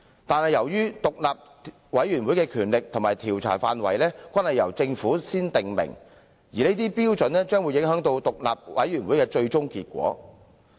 可是，由於獨立委員會的權力和調查範圍，均由政府事先訂明，有關規範將影響獨立委員會的最終結果。